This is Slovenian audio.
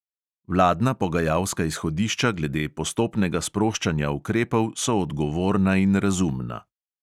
Vladna pogajalska izhodišča glede postopnega sproščanja ukrepov so odgovorna in razumna.